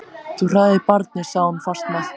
Þú hræðir barnið, sagði hún fastmælt.